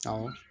Awɔ